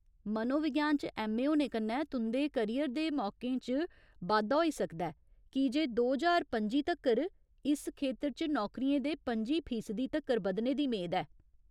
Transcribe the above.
मनोविज्ञान च ऐम्म.ए. होने कन्नै तुं'दे करियर दे मौकें च बाद्धा होई सकदा ऐ कीजे दो ज्हार पं'जी तक्कर इस खेतर च नौकरियें दे पं'जी फीसदी तक्कर बधने दी मेद ऐ।